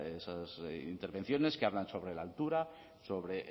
esas intervenciones que hablan sobre la altura sobre